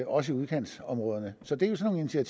også i udkantsområderne så det er